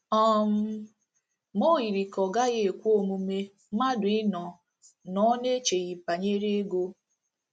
um Ma o yiri ka ọ gaghị ekwe omume mmadụ ịnọ nnọọ n’echeghị banyere ego.